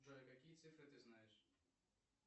джой какие цифры ты знаешь